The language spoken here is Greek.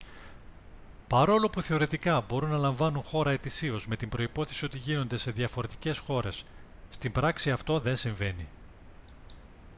παρόλο που θεωρητικά μπορούν να λαμβάνουν χώρα ετησίως με την προϋπόθεση ότι γίνονται σε διαφορετικές χώρες στην πράξη αυτό δεν συμβαίνει